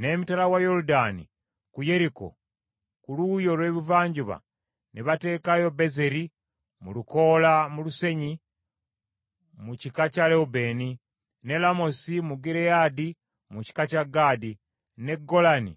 N’emitala wa Yoludaani ku Yeriko ku luuyi olw’ebuvanjuba ne bateekayo Bezeri mu lukoola mu lusenyi mu kika kya Lewubeeni, ne Lamosi mu Gireyaadi mu kika kya Gaadi, ne Golani